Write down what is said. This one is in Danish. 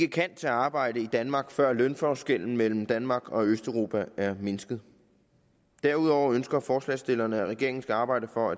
kan tage arbejde i danmark før lønforskellen mellem danmark og østeuropa er mindsket derudover ønsker forslagsstillerne at regeringen skal arbejde for